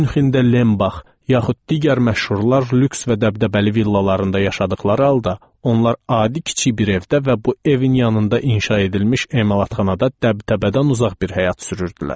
Münxendə Lenbach, yaxud digər məşhurlar lüks və dəbdəbəli villalarında yaşadıqları halda, onlar adi kiçik bir evdə və bu evin yanında inşa edilmiş emalatxanada dəbdəbədən uzaq bir həyat sürürdülər.